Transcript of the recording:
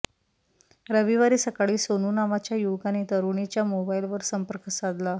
रविवारी सकाळी सोनू नावाच्या युवकाने तरुणीच्या मोबाइलवर संपर्क साधला